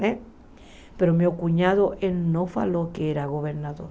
Né mas meu cunhado ele não falou que era governador.